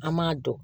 An m'a dɔn